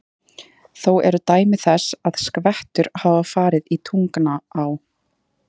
Þó eru dæmi þess, að skvettur hafa farið í Tungnaá.